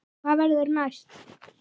Hvað verður næst?